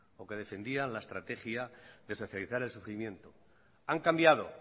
o que defendían la estrategia de socializar el sufrimiento han cambiado